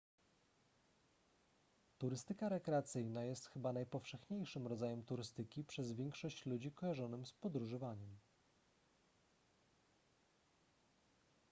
turystyka rekreacyjna jest chyba najpowszechniejszym rodzajem turystyki przez większość ludzi kojarzonym z podróżowaniem